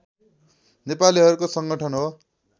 नेपालीहरुको सङ्गठन हो